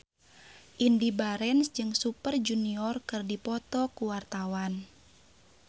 Indy Barens jeung Super Junior keur dipoto ku wartawan